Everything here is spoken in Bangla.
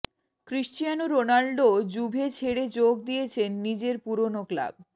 ক্রিশ্চিয়ানো রোনাল্ডো জুভে ছেড়ে যোগ দিয়েছেন নিজের পুরনো ক্লাব